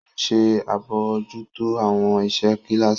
O nṣe abojuto awọn iṣẹ kilasi.